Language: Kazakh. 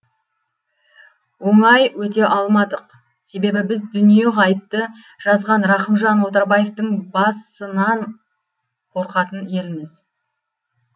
оңай өте алмадық т с с себебі біз дүниеғайыпты жазған рақымжан отарбаевтың бас ынан қорқатын елміз